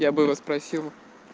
я бы его спросил